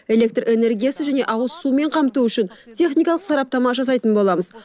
электр энергиясы және ауызсумен қамту үшін техникалық сараптама жасайтын боламыз